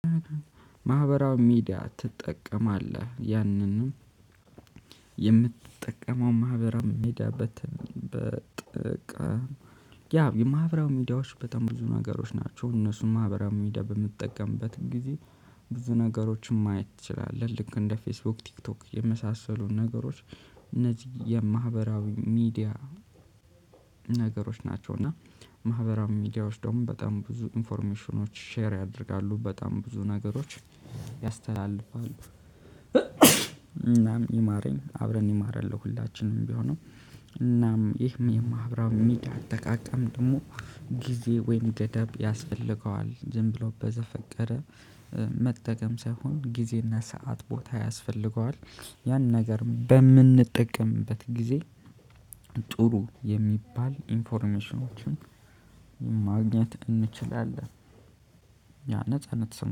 ማህበራዊ ሚዲያ ትጠቀማለህ? ያንንም የምትጠቀመው ማህበራዊ ሚዲያ በተ በጥቅም ያ የማህበራዊ ሚዲያዎች በጣም ብዙ ነገሮች ናቸው እነሱም ማህበራዊ ሚዲያ በምትጠቀምበት ጊዜ ብዙ ነገሮችን ማየት ትችላለህ። ልክ እንደ ፌስቡክ ቲክቶክ የመሳሰሉ ነገሮች እነዚህ የማህበራዊ ሚዲያ ነገሮች ናቸው። እና ማህበራዊ ሚዲያዎች ደግሞ በጣም ብዙ ኢንፎርሜሽኖች ሼር ያደርጋሉ በጣም ብዙ ነገሮች ያስተላልፋሉ። እናም ይማረኝ አብረን ይማረን ለሁላችንም ቢሆንም። እናም ይህም የማሕበራዊ ሚዲያ አጠቃቀም ደግሞ ጊዜ ወይም ገደብ ያስፈልገዋል። ዝም ብሎ በዘፈቀደ መጠቀም ሳይሆን ጊዜና ሰዓት ቦታ ያስፈልገዋል። ያን ነገር በምንጠቀምበት ጊዜ ጥሩ የሚባል ኢንፎርሜሽኖችን ማግኘት እንችላለን። ያ ነፃ